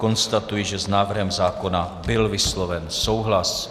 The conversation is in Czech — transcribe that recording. Konstatuji, že s návrhem zákona byl vysloven souhlas.